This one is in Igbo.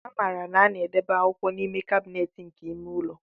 A maara na a na-edobe akwụkwọ n'ime kabinet nke ime ụlọ.